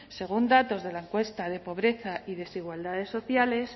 según datos de la encuesta de pobreza y desigualdades sociales